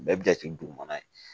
Bɛɛ bɛ jate dugumana ye